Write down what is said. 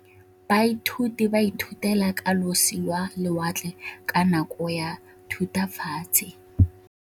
Baithuti ba ithutile ka losi lwa lewatle ka nako ya Thutafatshe.